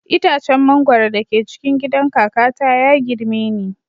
Itacen mangwaro da ke cikin gidan kakata ya girme ni